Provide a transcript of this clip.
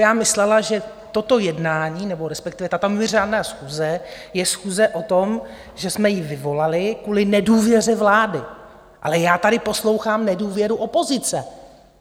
Já myslela, že toto jednání, nebo respektive tato mimořádná schůze je schůze o tom, že jsme ji vyvolali kvůli nedůvěře vlády, ale já tady poslouchám nedůvěru opozice!